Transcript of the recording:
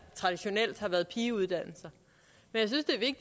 traditionelt har været pigeuddannelser